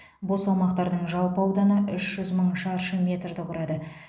бос аумақтардың жалпы ауданы үш жүз мың шаршы метрді құрады